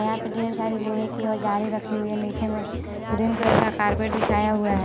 यहाँ पे ढेर सारी लोहे की औज़ारे रखी हुई हैं नीचे में ग्रीन कलर का कारपेट बिछाया हुआ है।